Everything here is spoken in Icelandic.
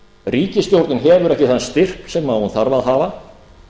ríkisstjórnin hefur ekki þann styrk sem hún þarf að hafa